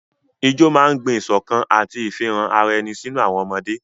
Ijó máa ń gbin ìṣọ̀kan àti ìfihàn ara ẹni sínú àwọn ọmọdé.